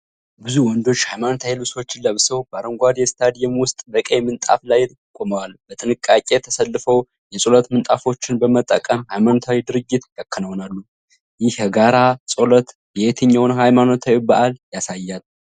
ብዙ ወንዶች ሃይማኖታዊ ልብሶችን ለብሰው፣ በአረንጓዴ ስታዲየም ውስጥ በቀይ ምንጣፍ ላይ ቆመዋል። በጥንቃቄ ተሰልፈው የጸሎት ምንጣፎችን በመጠቀም ሃይማኖታዊ ድርጊት ያከናውናሉ። ይህ የጋራ ጸሎት የትኛውን ሃይማኖታዊ በዓል ያሳያል?